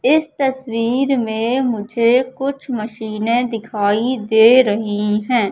इस तस्वीर में मुझे कुछ मशीने दिखाई दे रही है।